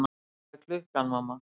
Hvað er klukkan, mamma?